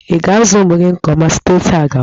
Ị ga-azụ ụmụ gị nke ọma site taa gawa!